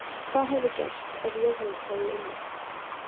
Hvað hefði gerst ef Jóhannes hefði unnið?!